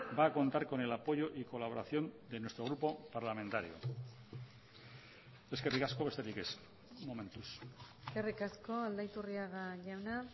va a contar con el apoyo y colaboración de nuestro grupo parlamentario eskerrik asko besterik ez momentuz eskerrik asko aldaiturriaga jauna